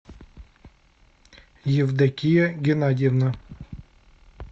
евдокия геннадьевна